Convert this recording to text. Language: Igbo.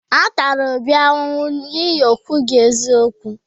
A tara Obi ahụhụ n’ihi na o kwughi eziokwu.